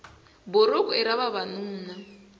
buruku i ra vavanuna